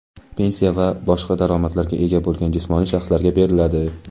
pensiya va boshqa daromadlarga ega bo‘lgan jismoniy shaxslarga beriladi.